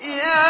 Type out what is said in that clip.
يَا